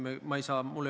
Sellega ei saa nõustuda.